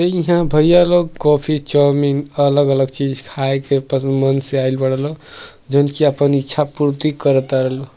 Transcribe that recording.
ईहा भईया लोग कॉफी चाउमीन अलग-अलग चीज खाए के पसंद मन से आईल बाड़ेलोग। जवन कि आपन इच्छा पूर्ति कर ताड़े लोग।